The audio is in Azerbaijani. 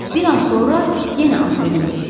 Bir an sonra yenə at belində idi.